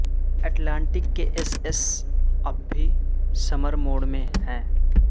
Atlantic کے S S S اب بھی سمر موڈ میں ہیں